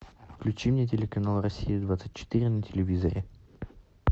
включи мне телеканал россия двадцать четыре на телевизоре